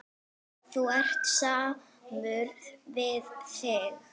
Þú ert samur við þig!